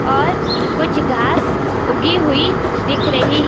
और कुछ घास उगी हुई दिख रही--